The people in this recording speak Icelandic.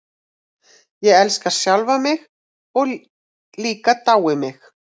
Ég elska sjálfan mig og líka dái mig.